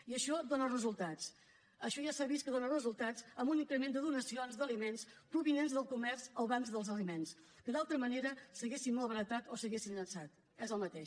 i això dóna resultats això ja s’ha vist que dóna resultats amb un increment de donacions d’aliments provinents del comerç als bancs dels aliments que d’altra manera s’haurien malbaratat o s’haurien llançat és el mateix